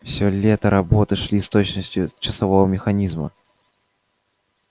всё лето работы шли с точностью часового механизма